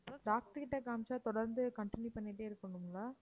doctor கிட்ட காமிச்சா தொடர்ந்து continue பண்ணிக்கிட்டே இருக்கணுங்களா